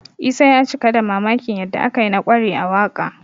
Isa ya cika da mamakin yadda aka yi na ƙware a waƙa